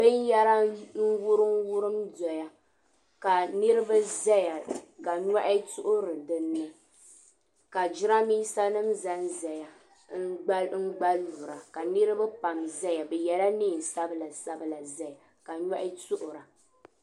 Bɛn yara n wurim wurim n-doya ka niribi ʒaya ka nyɔhi tuɣiri dinni, ka jiranbisa. nim zanzaya n gba lura ka niribi pam zan zaya. bi yela neen' sabila n zaya ka nyɔhi tuɣira